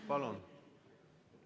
Palun!